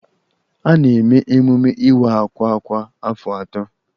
A na-eme emume Iwa àkwà kwa afọ atọ